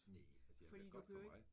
Næ altså det har været godt for mig